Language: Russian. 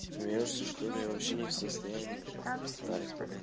смеёшься что-ли я вообще не в состоянии встать блядь